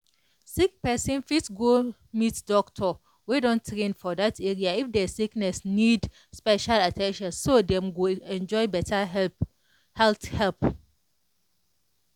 sick person fit go meet doctor wey don train for that area if their sickness need special at ten tion so dem go enjoy better help health help.